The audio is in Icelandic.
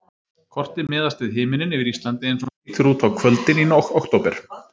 Kortið miðast við himininn yfir Íslandi eins og hann lítur út á kvöldin í október.